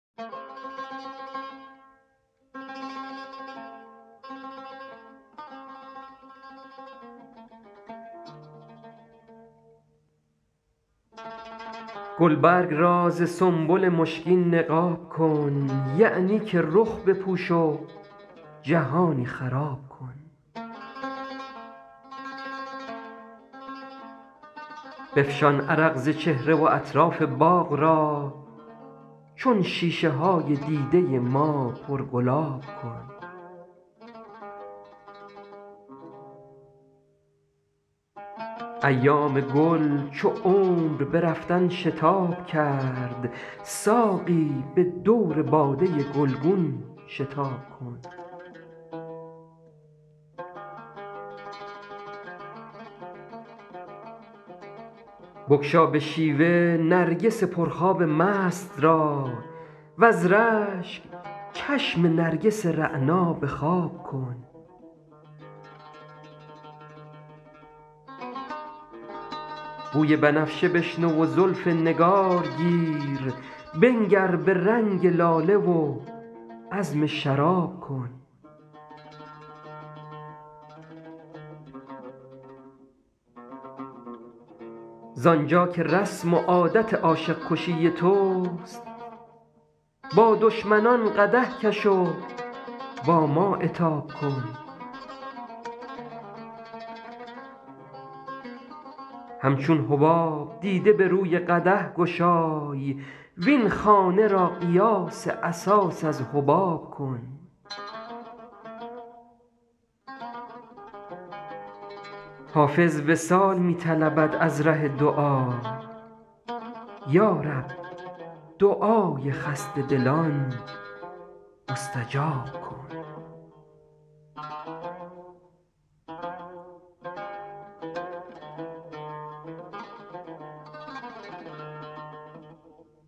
گلبرگ را ز سنبل مشکین نقاب کن یعنی که رخ بپوش و جهانی خراب کن بفشان عرق ز چهره و اطراف باغ را چون شیشه های دیده ما پرگلاب کن ایام گل چو عمر به رفتن شتاب کرد ساقی به دور باده گلگون شتاب کن بگشا به شیوه نرگس پرخواب مست را وز رشک چشم نرگس رعنا به خواب کن بوی بنفشه بشنو و زلف نگار گیر بنگر به رنگ لاله و عزم شراب کن زآن جا که رسم و عادت عاشق کشی توست با دشمنان قدح کش و با ما عتاب کن همچون حباب دیده به روی قدح گشای وین خانه را قیاس اساس از حباب کن حافظ وصال می طلبد از ره دعا یا رب دعای خسته دلان مستجاب کن